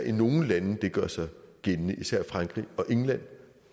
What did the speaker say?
i nogle lande det gør sig gældende især frankrig og england